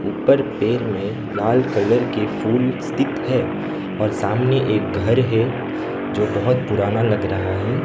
ऊपर पेर में लाल कलर के फूल स्थित है और सामने एक घर है जो बहुत पुराना लग रहा है।